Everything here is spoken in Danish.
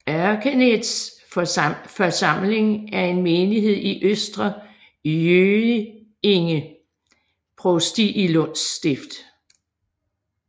Örkeneds församling er en menighed i Östra Göinge provsti i Lunds stift